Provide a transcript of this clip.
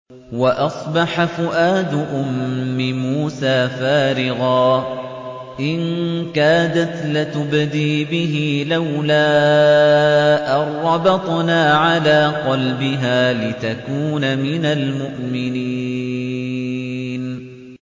وَأَصْبَحَ فُؤَادُ أُمِّ مُوسَىٰ فَارِغًا ۖ إِن كَادَتْ لَتُبْدِي بِهِ لَوْلَا أَن رَّبَطْنَا عَلَىٰ قَلْبِهَا لِتَكُونَ مِنَ الْمُؤْمِنِينَ